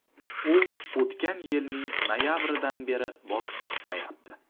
U o‘tgan yilning noyabridan beri boks tushmayapti.